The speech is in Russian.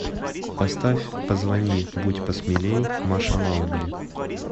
поставь позвони будь посмелей маша маугли